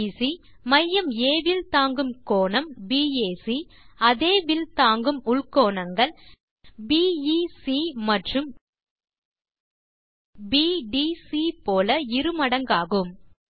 will PC மையம் ஆ வில் தாங்கும் கோணம் பாக் அதே வில் தாங்கும் உள் கோணங்கள் பிஇசி மற்றும் பிடிசி போல இருமடங்காகும்